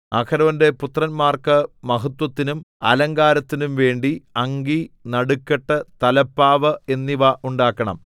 അഹരോന്റെ പുത്രന്മാർക്ക് മഹത്വത്തിനും അലങ്കാരത്തിനും വേണ്ടി അങ്കി നടുക്കെട്ട് തലപ്പാവ് എന്നിവ ഉണ്ടാക്കണം